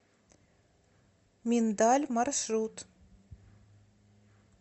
миндаль маршрут